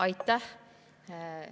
Aitäh!